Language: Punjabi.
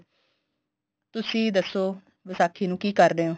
ਤੁਸੀਂ ਦੱਸੋ ਵਿਸਾਖੀ ਨੂੰ ਕੀ ਕਰਦੇ ਓ